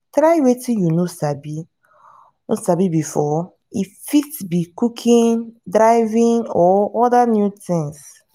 try wetin you no sabi no sabi before e fit be cooking driving or oda new things